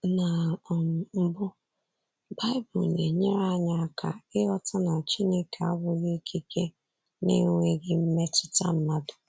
Na um mbụ, baịbụl na-enyere anyị aka ịghọta na Chineke abụghị ikike na-enweghị mmetụta mmadụ.